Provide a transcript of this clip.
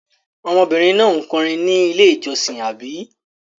Ọmọbìnrin náà kọrin ní Ilé-ìjọsìn, àbí?